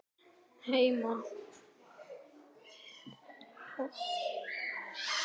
Ný stofnun er okkur gefin.